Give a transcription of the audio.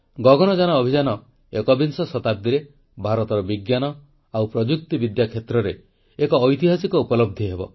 ଗଗନଯାନ ଅଭିଯାନ ଏକବିଂଶ ଶତାବ୍ଦୀରେ ଭାରତର ବିଜ୍ଞାନ ଓ ପ୍ରଯୁକ୍ତିବିଦ୍ୟା କ୍ଷେତ୍ରରେ ଏକ ଐତିହାସିକ ଉପଲବ୍ଧି ହେବ